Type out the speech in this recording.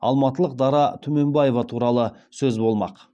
алматылық дара түменбаева туралы сөз болмақ